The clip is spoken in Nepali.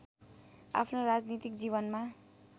आफ्नो राजनीतिक जीवनमा